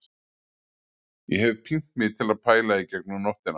Ég hef pínt mig til að pæla í gegnum nóttina